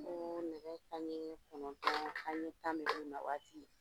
Ko nɛgɛ kanɲɛ kɔnɔntɔn kanɲɛ tan na waati